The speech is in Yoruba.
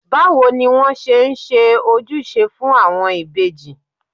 Báwo ni wón ṣe ń ojúṣe fún àwọn ìbejì?